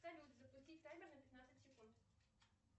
салют запустить таймер на пятнадцать секунд